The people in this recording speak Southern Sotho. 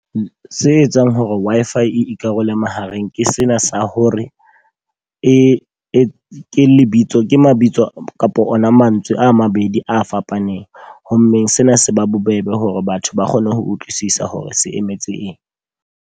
Se etsang hore Wi-Fi e ikarole mahareng, ke sena sa hore e e lebitso ke mabitso kapo ona mantswe a mabedi a fapaneng. Ho mmeng sena se ba bobebe hore batho ba kgone ho utlwisisa hore se emetse eng.